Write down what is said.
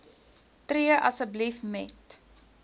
tree asseblief met